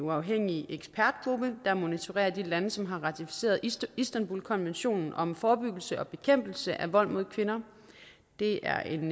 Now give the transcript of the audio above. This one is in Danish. uafhængig ekspertgruppe der monitorerer de lande som har ratificeret istanbulkonventionen om forebyggelse og bekæmpelse af vold mod kvinder det er en